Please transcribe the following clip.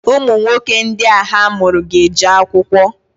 Ụmụnwoke ndị a ha mụrụ ga-eje akwụkwọ.